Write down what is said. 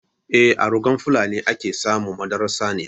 Eh, a rugan fulani a ke samun madarar saniya.